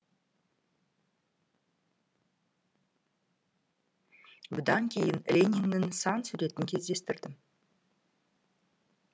бұдан кейін лениннің сан суретін кездестірдім